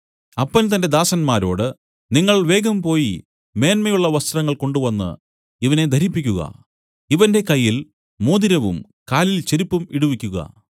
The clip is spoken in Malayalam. അപ്പൻ തന്റെ ദാസന്മാരോട് നിങ്ങൾ വേഗം പോയി മേന്മയുള്ള വസ്ത്രങ്ങൾ കൊണ്ടുവന്നു ഇവനെ ധരിപ്പിക്കുക ഇവന്റെ കയ്യിൽ മോതിരവും കാലിൽ ചെരിപ്പും ഇടുവിക്കുക